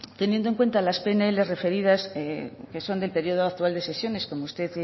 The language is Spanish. teniendo en cuenta las pnls referidas que son del periodo actual de sesiones como usted